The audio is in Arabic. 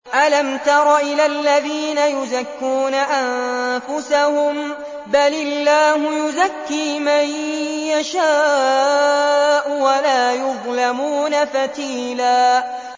أَلَمْ تَرَ إِلَى الَّذِينَ يُزَكُّونَ أَنفُسَهُم ۚ بَلِ اللَّهُ يُزَكِّي مَن يَشَاءُ وَلَا يُظْلَمُونَ فَتِيلًا